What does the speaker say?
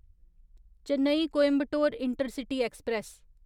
Chennai Coimbatore intercity express